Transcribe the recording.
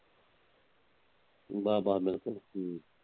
ਬਾ ਬਾ ਬਿਲਕੁਲ।